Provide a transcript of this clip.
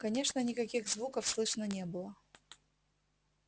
конечно никаких звуков слышно не было